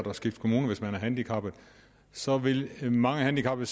at skifte kommune hvis man er handicappet så vil mange handicappede